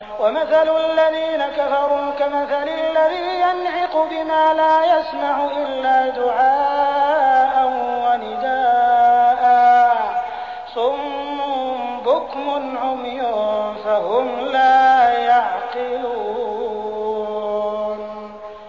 وَمَثَلُ الَّذِينَ كَفَرُوا كَمَثَلِ الَّذِي يَنْعِقُ بِمَا لَا يَسْمَعُ إِلَّا دُعَاءً وَنِدَاءً ۚ صُمٌّ بُكْمٌ عُمْيٌ فَهُمْ لَا يَعْقِلُونَ